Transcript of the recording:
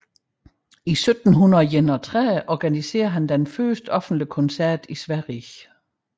I 1731 organiserede han den første offentlige koncert i Sverige